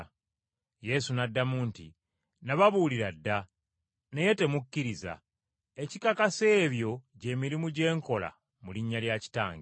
Yesu n’addamu nti, “Nababuulira dda naye temukkiriza. Ekikakasa ebyo gy’emirimu gye nkola mu linnya lya Kitange.